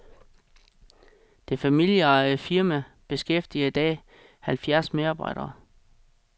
Det familieejede firma beskæftiger i dag halvfjerds medarbejdere.